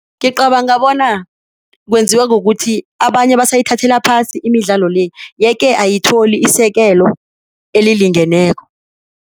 Ngicabanga bona kwenziwa kukuthi abanye basathathela phasi imidlalo le yeke ayithole isekelo elilingeneko.